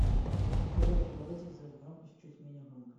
тв в туалете сделать громкость чуть менее громко